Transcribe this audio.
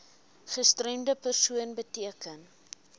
gestremde persoon beteken